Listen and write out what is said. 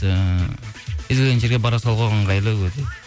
ііі кез келген жерге бара салуға ыңғайлы өте